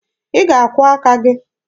Ị na-akwụọ aka gị?